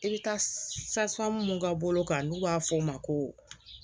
I bɛ taa sa mun ka bolo kan n'u b'a fɔ o ma ko